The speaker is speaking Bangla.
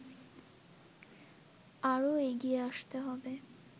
আরো এগিয়ে আসতে হবে